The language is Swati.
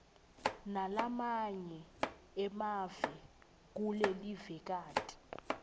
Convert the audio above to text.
nalamanye emave kulelivekati